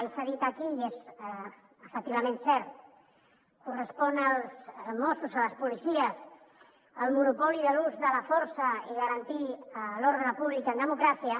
i s’ha dit aquí i és efectivament cert correspon als mossos a les policies el monopoli de l’ús de la força i garantir l’ordre públic en democràcia